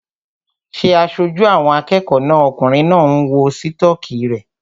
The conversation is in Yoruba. Ṣé aṣojú àwọn akẹ́kọ̀ọ́ náà okùnrin náà ń wọ sítọ́kì rẹ̀?